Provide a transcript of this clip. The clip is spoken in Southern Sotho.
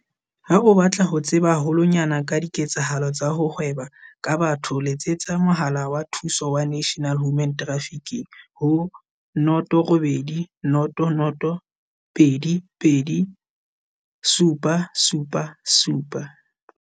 Ha o batla ho tseba haho lwanyane ka diketsahalo tsa ho hweba ka batho letsetsa Mohala wa Thuso wa National Human Trafficking ho- 0800 222 777.